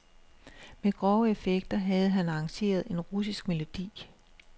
Med grove effekter havde han arrangeret en russisk melodi.